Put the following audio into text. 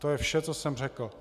To je vše, co jsem řekl.